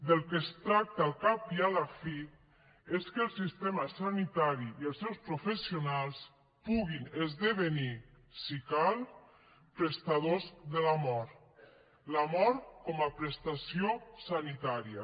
del que es tracta al cap i a la fi és que el sistema sanitari i els seus professionals puguin esdevenir si cal prestadors de la mort la mort com a prestació sanitària